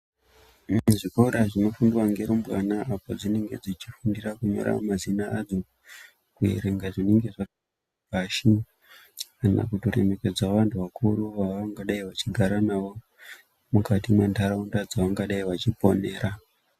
Muzvikora zvinenge muchifundirwa nerumbwana kunyora madzina adzo kuerenge zvinenge zvakanyorwa pasi kana kutoremekedzawo vanhu vakuru vaangadai vachigara nawo mukati mendaraunda yawangadai wachiponera.